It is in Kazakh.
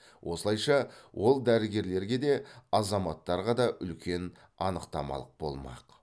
осылайша ол дәрігерлерге де азаматтарға да үлкен анықтамалық болмақ